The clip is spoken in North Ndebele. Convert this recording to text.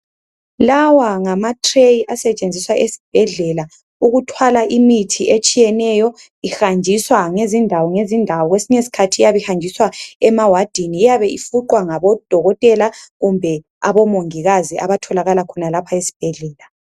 Lawa ngama tray asetshenziswa esbhedlela ukuthwala imithi etshiyeneyo ihanjiswa ngezindawo ngezindawo kwesinye skhathi iyabe ihanjiswa emawardin iyabe ifuqwa ngabo dokotela kumbe abo mongikazi abatholakala khonalapha esbhedlela.